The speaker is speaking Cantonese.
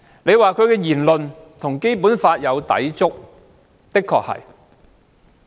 如果說他的言論與《基本法》有抵觸，這的確是事實。